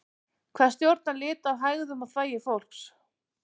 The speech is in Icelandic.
hvað stjórnar lit á hægðum og þvagi fólks